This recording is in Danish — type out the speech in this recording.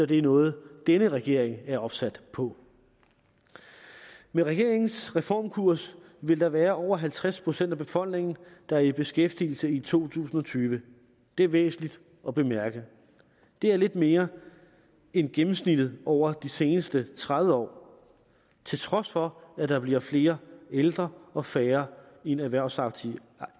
det noget denne regering er opsat på med regeringens reformkurs vil der være over halvtreds procent af befolkningen der er i beskæftigelse i to tusind og tyve det er væsentligt at bemærke det er lidt mere end gennemsnittet over de seneste tredive år til trods for at der bliver flere ældre og færre i den erhvervsaktive